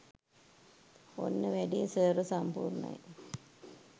ඔන්න වැඩේ සර්ව සම්පූර්ණයි